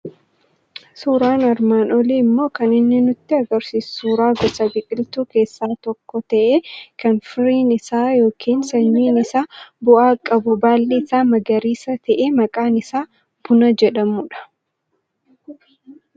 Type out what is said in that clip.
Suuraan armaan olii immoo kan inni nutti argisiisu suuraa gosa biqiltuu keessaa tokko ta'e, kan firiin isaa yookiin sanyiin isaa bu'aa qabu, baalli isaa magariisa ta'e maqaan isaa buna jedhamudha.